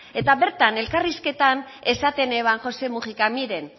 eta bertan elkarrizketan esaten eban josé mujicak miren